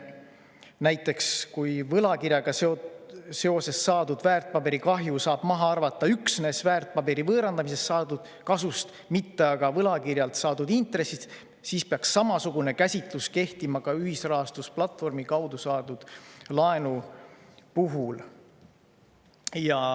Näiteks kui võlakirjaga seoses saadud väärtpaberikahju saab maha arvata üksnes väärtpaberi võõrandamisest saadud kasust, mitte aga võlakirjalt saadud intressist, siis peaks samasugune käsitlus kehtima ka ühisrahastusplatvormi kaudu saadud laenu puhul.